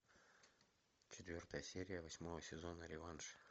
четвертая серия восьмого сезона реванш